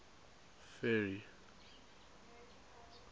ferry